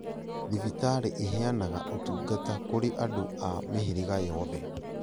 Thibitarĩ iheanaga ũtungata kũrĩ andũ a mĩhĩrĩga yothe